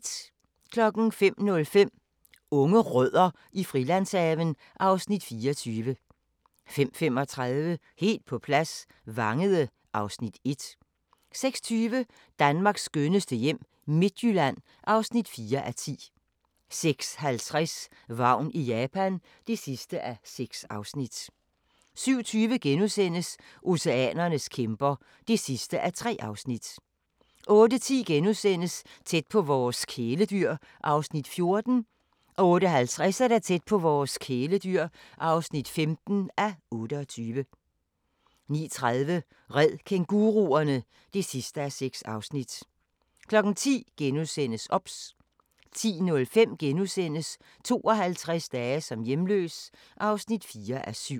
05:05: Unge Rødder i Frilandshaven (Afs. 24) 05:35: Helt på plads – Vangede (Afs. 1) 06:20: Danmarks skønneste hjem - Midtjylland (4:10) 06:50: Vagn i Japan (6:6) 07:20: Oceanernes kæmper (3:3)* 08:10: Tæt på vores kæledyr (14:28)* 08:50: Tæt på vores kæledyr (15:28) 09:30: Red kænguruerne! (6:6) 10:00: OBS * 10:05: 52 dage som hjemløs (4:7)*